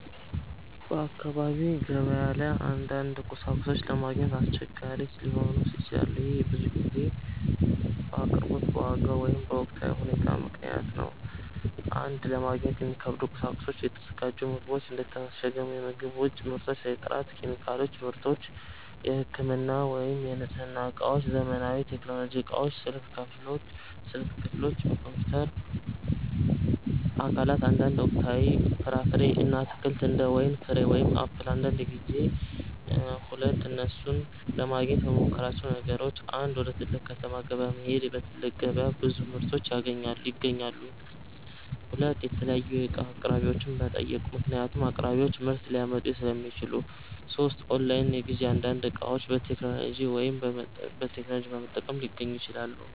በአካባቢ ገበያ ላይ አንዳንድ ቁሳቁሶች ለማግኘት አስቸጋሪ ሊሆኑ ይችላሉ። ይህ ብዙ ጊዜ በአቅርቦት፣ በዋጋ ወይም በወቅታዊ ሁኔታ ምክንያት ነው። 1) ለማግኘት የሚከብዱ ቁሳቁሶች የተዘጋጁ ምግቦች እንደ የታሸገ ምግብ፣ የውጭ ምርቶች የጥራት ኬሚካሎች / ምርቶች የህክምና ወይም የንጽህና እቃዎች ዘመናዊ ቴክኖሎጂ እቃዎች ስልክ ክፍሎች፣ ኮምፒውተር አካላት አንዳንድ ወቅታዊ ፍራፍሬ እና አትክልት እንደ ወይን ፍሬ ወይም አፕል አንዳንድ ጊዜ 2) እነሱን ለማግኘት የምመሞክራቸው ነገሮች 1. ወደ ትልቅ ከተማ ገበያ መሄድ በትልቅ ገበያ ብዙ ምርቶች ይገኛሉ 2. የተለያዩ እቃ አቅራቢዎችን መጠየቅ ምክንያቱም አቅራቢዎች ምርት ሊያመጡ ሥለሚችሉ 3. ኦንላይን ግዢ አንዳንድ እቃዎች በቴክኖሎጂ በመጠቀም ሊገኙ ይችላሉ